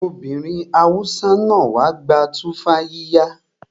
Ọmọbìnrin Hausa náà wá gba tumfafiya